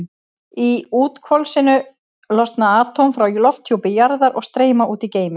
Í úthvolfinu losna atóm frá lofthjúpi jarðar og streyma út í geiminn.